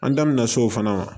An da mɛna so fana